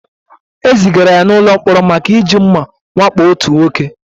E zigara ya n'ụlọ mkpọrọ maka iji mma wakpo otu nwoke.